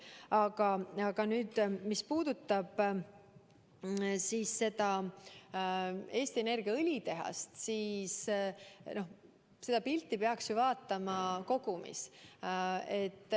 Aga mis puudutab Eesti Energia õlitehast, siis seda pilti peaks ju vaatama kogumis.